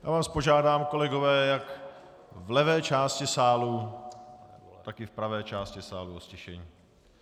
Já vás požádám, kolegové, jak v levé části sálu, tak i v pravé část sálu, o ztišení.